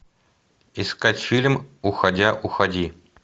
искать фильм уходя уходи